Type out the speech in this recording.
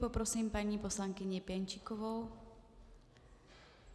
Poprosím paní poslankyni Pěnčíkovou.